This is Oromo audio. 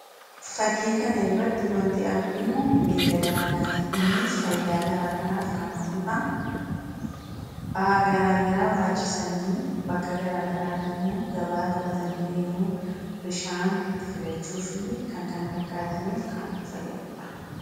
Fakkii kanarratti wanti arginu beeyilada manaati. Innis fayidaa garaagaraa kan ooludha. Ba'aa garaa garaa baachisanii bakka garaagaraa deemuu gabaa fudhatanii deemuu bishaan ittiin fidachuu fi kan kana fakkaataniif kan fayyadudha.